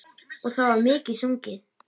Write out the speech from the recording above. Og, það var mikið sungið.